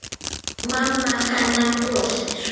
Mamma hennar brosir.